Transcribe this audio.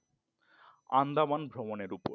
আন্দামান ভ্রমণের ওপর।